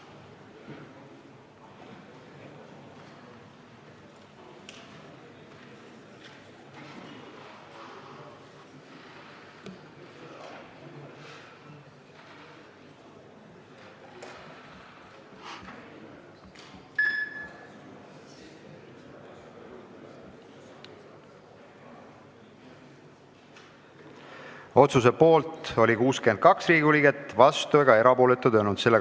Hääletustulemused Otsuse poolt oli 62 Riigikogu liiget, vastuolijaid ega erapooletuid ei olnud.